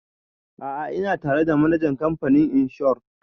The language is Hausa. A'a ina tare da manajan kamfanin inshor